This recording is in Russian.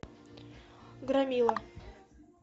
громила